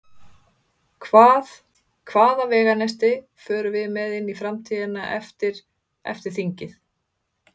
Hvað, hvaða veganesti förum við með inn í framtíðina eftir, eftir þingið?